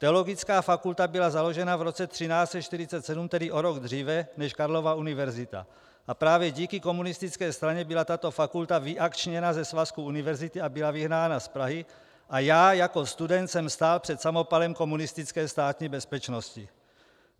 Teologická fakulta byla založena v roce 1347, tedy o rok dříve než Karlova univerzita, a právě díky komunistické straně byla tato fakulta vyakčněna ze svazku univerzit a byla vyhnána z Prahy a já jako student jsem stál před samopalem komunistické Státní bezpečnosti.